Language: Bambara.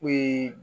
O ye